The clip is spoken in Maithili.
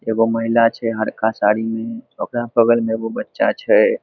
एगो महिला छै हरका साड़ी में ओकरा बगल में एगो बच्चा छै।